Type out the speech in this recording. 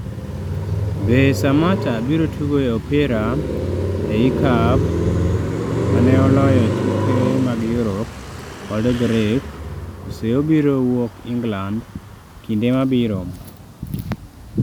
Be, Samatta biro tugo e opira e lkab maneoloyo tuke mag Europe kod Grek kose obiro wuok England e kinde mabiro